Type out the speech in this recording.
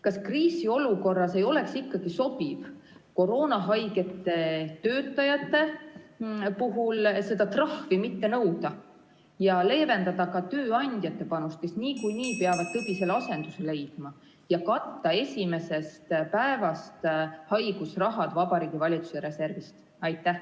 Kas kriisiolukorras ei oleks ikkagi sobiv koroonahaigete töötajate puhul seda trahvi mitte nõuda ja leevendada ka tööandjate panust, kes niikuinii peavad tõbisele asenduse leidma, ja katta haigusrahad esimesest päevast Vabariigi Valitsuse reservist?